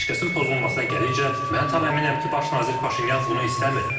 Ateşkəsin pozulmasına gəlincə, mən tam əminəm ki, baş nazir Paşinyan bunu istəmir.